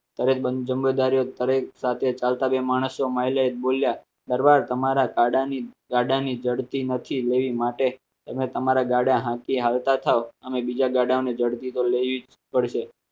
તમે તમારી જિમ્મેદારી સાથે ચલતે જોયા દરબાર તમારા ગાડાની ગાડાની જડતી નથી લેવી માટે તમે તમારા ગાડા હાંકી હાલતા થાવ અમે બીજા ગાડાઓને ઝડપી તો લેવી પડશે